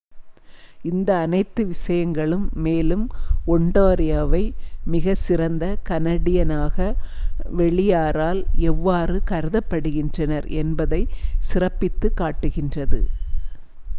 இந்த அனைத்து விஷயங்களும் மேலும் ஒண்டாரியோவை மிகச்சிறந்த கனடியனாக வெளியாரால் எவ்வாறு கருதபடுகின்றனர் என்பதை சிறப்பித்து காட்டுகின்றது